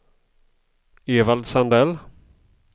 Evald Sandell